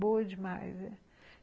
Boa demais.